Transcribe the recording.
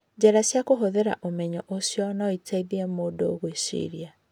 Njĩra cia kũhũthĩra ũmenyo ũcio no iteithie mũndũ kwĩciria.